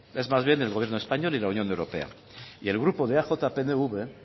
es más bien del gobierno español y la unión europea y el grupo de eaj pnv